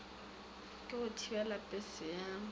la go thibela pese ya